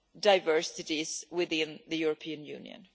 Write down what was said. diversities within the European Union?